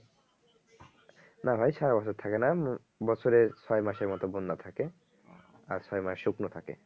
না ভাই সারা বছর থাকে না বছরে ছয় মাসের মত বন্যা থাকে আর ছয় মাস শুকনো থাকে